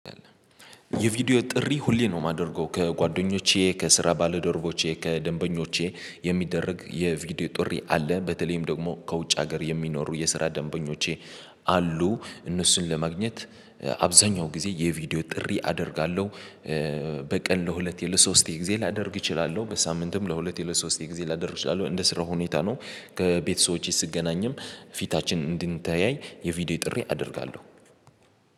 የቪዲዮ ጥሪ ሁሌ ነው የማደርገው ከጓደኞቼ ከስራ ባለዶርቦቼ ከደንበኞቼ የሚደረግ የቪዲዮ ጥሪ አለ በተለይም ደግሞ ከውጭ ሀገር የሚኖሩ የስራ ደንበኞቼ አሉ እነሱን ለማግኘት አብዛኛው ጊዜ የቪዲዮ ጥሪ አደርጋለሁ። በቀን ለሁለት ለሶስቴ ጊዜ ላደርግ እችላለሁ በሳምንትም ለሁለት ለሶስቴ ጊዜ ላደርግ እችላለሁ እንደ ስራው ሁኔታ ነው። ከቤተሰቦቼ ስገናኝም ፊታችን እንድንተያይ የቪዲዮ ጥሪ አደርጋለሁ።